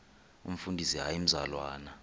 umfundisi hayi mzalwana